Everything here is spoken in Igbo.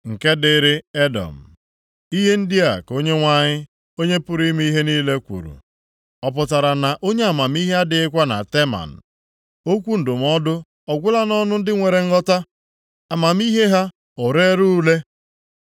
Nke dịrị Edọm: Ihe ndị a ka Onyenwe anyị, Onye pụrụ ime ihe niile kwuru, “Ọ pụtara na onye amamihe adịghịkwa na Teman? Okwu ndụmọdụ ọ gwụla nʼọnụ ndị nwere nghọta? Amamihe ha o reela ure?